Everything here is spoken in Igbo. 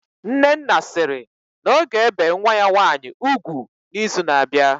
Nnenna sịrị na ọ ga-ebe nwa ya nwaanyị ugwu na izu na abịa